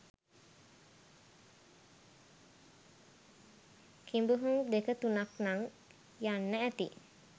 කිඹුහුං දෙක තුනක් නං යන්න ඇති.